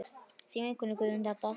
Þín vinkona Guðrún Dadda.